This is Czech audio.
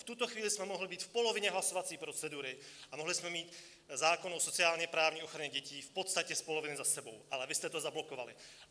V tuto chvíli jsme mohli být v polovině hlasovací procedury a mohli jsme mít zákon o sociálně-právní ochraně dětí v podstatě z poloviny za sebou, ale vy jste to zablokovali.